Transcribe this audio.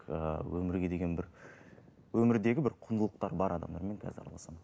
ы өмірге деген бір өмірдегі бір құндылықтары бар адамдармен қазір араласамын